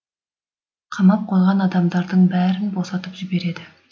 қамап қойған адамдардың бәрін босатып жібереді